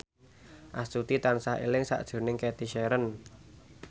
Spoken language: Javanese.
Astuti tansah eling sakjroning Cathy Sharon